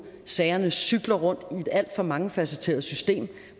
sagerne cykler rundt i et alt for mangefacetteret system